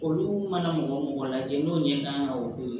Olu mana mɔgɔ mɔgɔ lajɛ n'o ɲɛ kan ka o to yen